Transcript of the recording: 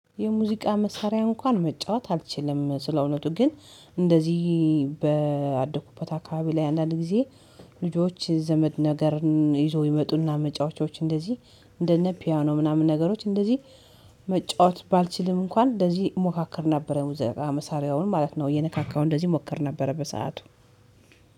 የሙዚቃ መሳሪያ እንኳን መጫወት አልችልም። ስለእውነቱ ግን እንደዚህ ባደኩበት አካባቢ ላይ አንዳንድ ጊዜ። ልጆች ዘመድ ነገርን ይዞ ይመጡና መጫወቻዎች እንደዚህ እንደነ ፒያኖ ምናምን ነገሮች እንደዚህ መጫወት ባልችልም እንኳን እንደዚህ እሞካክር ነበረ። ሙዚቃ መሳሪያውን ማለት ነው እየነካካው እንደዚህ ሞክር ነበረ። በሰአቱ